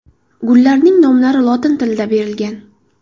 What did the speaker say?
Gullarning nomlari lotin tilida berilgan.